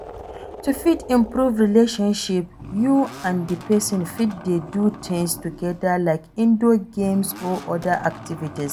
To fit improve relationship you and di person fit dey do things together like indoor games or oda activities